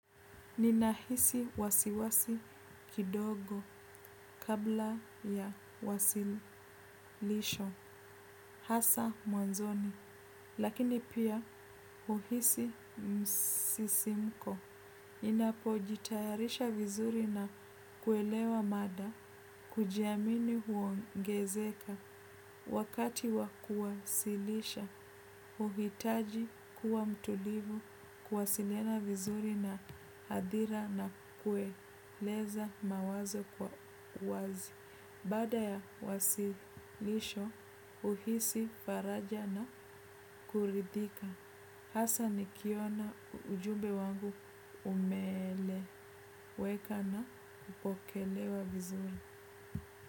Ninahisi wasiwasi kidogo kabla ya wasilisho, hasa mwanzoni, lakini pia huhisi msisimko. Ninapojitayarisha vizuri na kuelewa mada, kujiamini huongezeka wakati wa kuwasilisha, huhitaji kuwa mtulivu, kuwasiliana vizuri na adhira na kueleza mawazo kwa wazi. Baada ya wasilisho huhisi faraja na kuridhika. Hasa nikiona ujumbe wangu umeeleweka na kupokelewa vizuri.